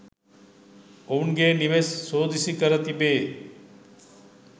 ඔවුන්ගේ නිවෙස් සෝදිසි කර තිබේ.